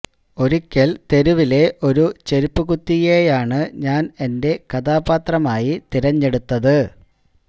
ഒരിക്കല് തെരുവിലെ ഒരു ചെരുപ്പു കുത്തിയെയാണ് ഞാന് എന്റെ കഥാപാത്രമായി തിരഞ്ഞെടുത്തത്